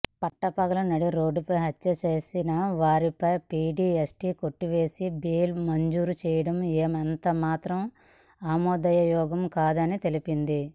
పట్టపగలు నడిరోడ్డుపై హత్య చేసిన వారిపై పీడీ యాక్ట్ కొట్టివేసి బెయిల్ మంజూరు చేయడం ఎంతమాత్రం ఆమోదయోగ్యం కాదని తెలిపింది